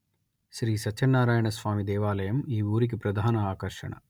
శ్రీ సత్యనారాయణ స్వామి దేవాలయం ఈ ఊరికి ప్రధాన ఆకర్షణ